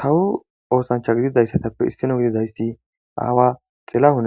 Kawu oosancha gididayssatappe issino gididayssi aawa tilahun